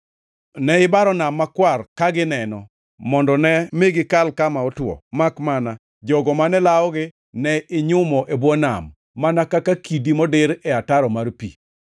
Ne ibaro nam makwar ka gineno, mondo ne mi gikal kama otwo, makmana jogo mane lawogi ne inyumo e bwo nam, mana kaka kidi modir e ataro mar pi.